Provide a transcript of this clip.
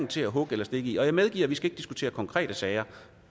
til at hugge eller stikke i og jeg medgiver at vi ikke skal diskutere konkrete sager